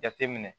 Jateminɛ